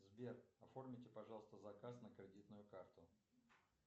сбер оформите пожалуйста заказ на кредитную карту